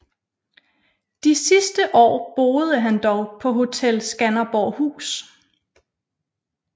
De sidste år boede han dog på Hotel Skanderborghus